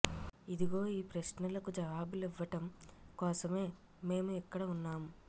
ఇదిగో ఈ ప్రశ్నలకి జవాబులివ్వటం కోసమే మేము ఇక్కడ ఉన్నాం